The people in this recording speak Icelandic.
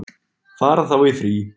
Fara þá í frí.